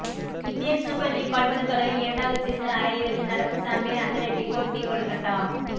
Indian super league கால்பந்து தொடரின் இரண்டாவது சீசன் அரையிறுதில் நடப்பு சாம்பியன் அத்லெடிகோ டி கொல்கட்டா